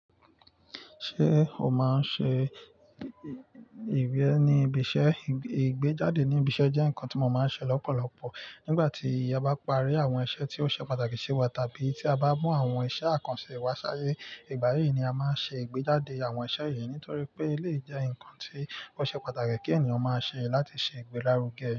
Ṣé o máa ń ṣe ìwé ní ibi iṣẹ́? Ìgbéjáde ní ibi iṣẹ́ jẹ́ nǹkan tí mo máa ń ṣe lọ́pọ̀lọpọ̀. Nígbà tí a bá parí àwọn iṣẹ́ tí ó ṣe pàtàkì sí wa, tàbí tí a bá mú àwọn iṣẹ́ àkànṣe wa ṣáyé, ìgbà yí ni a máa ń ṣe ìgbéjáde àwọn iṣẹ́ yìí nítorí pé elèyi jẹ́ ǹnkan tí ó ṣe pàtàkì kí ènìyàn máa ṣe láti ṣe ìgbélárugẹ.